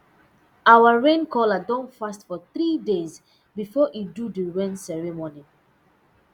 our rain caller don fast for three days before e do the rain ceremony